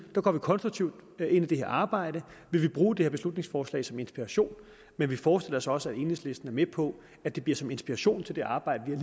går vi konstruktivt ind i det her arbejde vi vil bruge det her beslutningsforslag som inspiration men vi forestiller os også at enhedslisten er med på at det bliver som inspiration til det arbejde vi